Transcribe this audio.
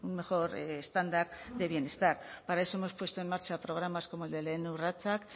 mejor estándar de bienestar para eso hemos puesto en marcha programas como el de lehen urratsak